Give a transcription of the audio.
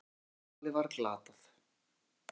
Lag sem talið var glatað.